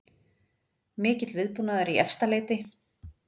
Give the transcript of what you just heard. Mikill viðbúnaður í Efstaleiti